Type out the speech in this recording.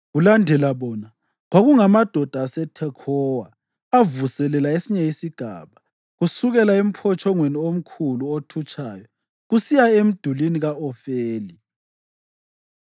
Kulandela bona, kwakungamadoda aseThekhowa avuselela esinye isigaba, kusukela emphotshongweni omkhulu othutshayo kusiya emdulini ka-Ofeli.